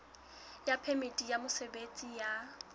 ya phemiti ya mosebetsi ya